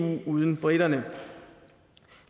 uden briterne